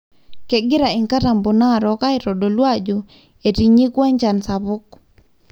kengira inkataboo narok aitadolu ajo etinyikua enchan sapuk.